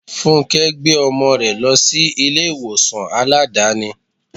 Fúnké gbé ọmọ rẹ lọ sí ilé ìwòsàn Aládàáni.